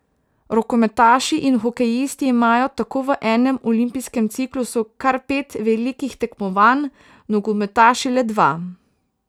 Rokometaši in hokejisti imajo tako v enem olimpijskem ciklusu kar pet velikih tekmovanj, nogometaši le dva.